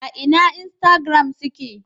A ina instagram suke?